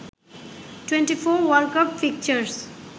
2014 world cup fixtures